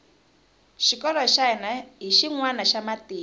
xikolo xa hina hi xinwana xa matimu